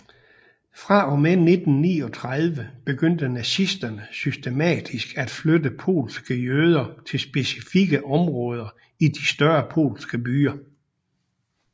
Fra og med 1939 begyndte nazisterne systematisk at flytte polske jøder til specifikke områder i de større polske byer